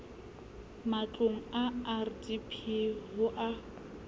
matlong a rdp ho a